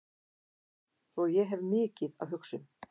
Svo ég hef mikið að hugsa um.